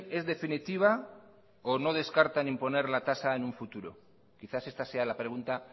es definitiva o no descarta en imponer la tasa en un futuro quizás esta sea la pregunta